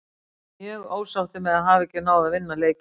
Við erum mjög ósáttir með að hafa ekki náð að vinna leikinn.